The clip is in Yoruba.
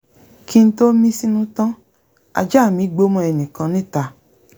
kí n tó mí sínú tán ajá mí gbó mọ́ ẹnìkan níta